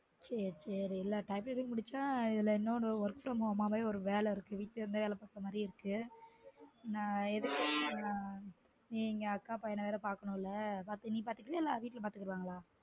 சேர் சேரி type writing முடிச்சும் இதுல இன்னொரு work from home மாதிரி வீட்ல இருந்து பாக்குர மாதிரி ஒரு வேல இருக்கு நான் நீ இங்க அக்கா பையன வேற பார்த்துக்கனும் இல்லயா நீ பாத்துப்பியா இல்ல வீட்ல பாத்துப்பாங்கலா